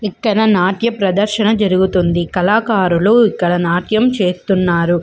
ఇక్కడ నాట్య ప్రదశన జరుగుతుంది కళాకారులూ ఇక్కడ నాట్యం చేస్తున్నారు.